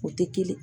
O tɛ kelen ye